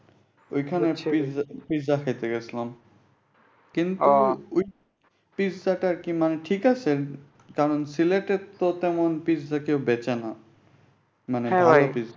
ঐখানে পিজ্জা খাইতে গেছিলাম। কিন্তু ঐটা পিজ্জাটা কেমন ঠিক আছে। কারণ সিলেটে তো তেমন পিজ্জা কেউ বেঁচে না। মানি ঐ আর কি।